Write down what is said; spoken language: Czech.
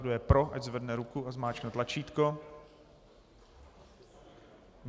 Kdo je pro, ať zvedne ruku a zmáčkne tlačítko.